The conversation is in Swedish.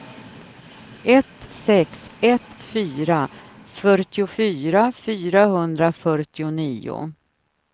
ett sex ett fyra fyrtiofyra fyrahundrafyrtionio